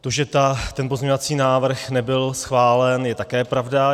To, že ten pozměňovací návrh nebyl schválen, je také pravda.